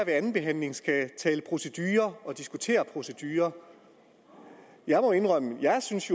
andenbehandlingen skal tale procedure og diskutere procedure jeg må indrømme at jeg synes